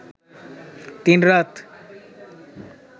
তিন রাত